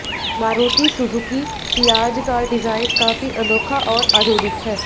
Maruti Suzuki Ciaz का design काफी अनोखा और आधुनिक है